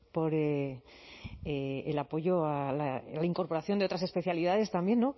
por el apoyo a la incorporación de otras especialidades también